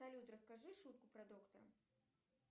салют расскажи шутку про доктора